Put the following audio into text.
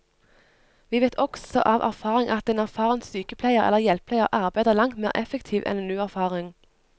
Vi vet også av erfaring at en erfaren sykepleier eller hjelpepleier arbeider langt mer effektivt enn en uerfaren.